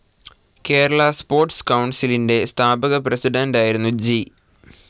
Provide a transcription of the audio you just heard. Kerala sports കൌൺസിലിൻ്റെ സ്ഥാപക പ്രസിഡൻ്റായിരുന്നു ജി.